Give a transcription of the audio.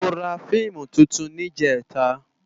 Mó rá fiimú tútún nijètá